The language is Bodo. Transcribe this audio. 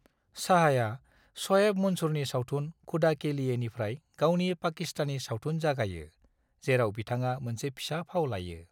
शाहआ श'एब मंसूरनि सावथुन खुदा के लिएनिफ्राय गावनि पाकिस्तानी सावथुन जागायो, जेराव बिथाङा मोनसे फिसा फाव लायो।